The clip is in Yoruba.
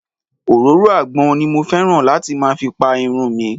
Òróró àgbọn ni mo fẹ́ràn láti máa fi Pa irun mìi.